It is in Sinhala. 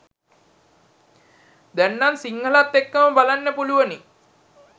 දැන්නම් සිංහලත් එක්කම බලන්න පුළුවනි